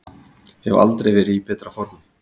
Hef aldrei verið í betra formi